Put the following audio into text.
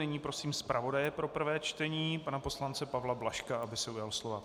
Nyní prosím zpravodaje pro prvé čtení pana poslance Pavla Blažka, aby se ujal slova.